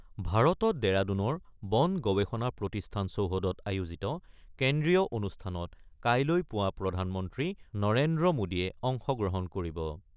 ভাৰতত ডেৰাডুনৰ বন গৱেষণা প্ৰতিষ্ঠান চৌহদত আয়োজিত কেন্দ্ৰীয় অনুষ্ঠানত কাইলৈ পুৱা প্ৰধানমন্ত্ৰী নৰেন্দ্ৰ মোদীয়ে অংশগ্ৰহণ কৰিব।